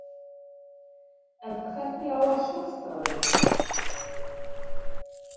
En hvernig á að sulta þau?